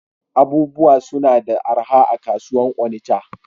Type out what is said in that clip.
Abubuwa suna da araha a'kasuwan Onitsha.